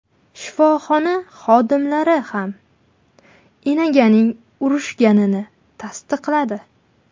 Shifoxona xodimlari ham enaganing urishganini tasdiqladi.